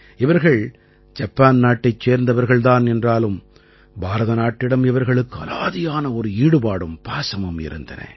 இவர்கள் ஜப்பான் நாட்டைச் சேர்ந்தவர்கள் தான் என்றாலும் பாரத நாட்டிடம் இவர்களுக்கு அலாதியான ஒரு ஈடுபாடும் பாசமும் இருந்தன